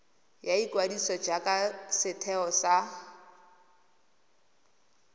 ya ikwadiso jaaka setheo sa